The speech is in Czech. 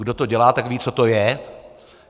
Kdo to dělá, tak ví, co to je.